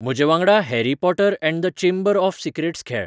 म्हजेवांगडा Harry Potter and the Chamber of Secrets खेळ